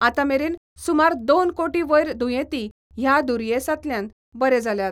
आतां मेरेन सुमार दोन कोटी वयर दुयेंती ह्या दुयेंसांतल्यान बरे जाल्यात.